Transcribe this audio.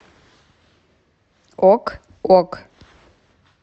ок ок